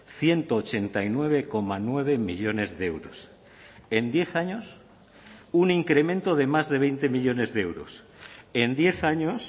ciento ochenta y nueve coma nueve millónes de euros en diez años un incremento de más de veinte millónes de euros en diez años